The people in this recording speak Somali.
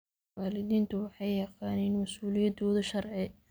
Waalidiintu waxay yaqaaniin mas'uuliyadooda sharci.